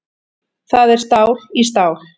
Það er stál í stál